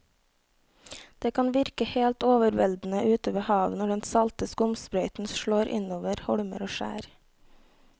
Det kan virke helt overveldende ute ved havet når den salte skumsprøyten slår innover holmer og skjær.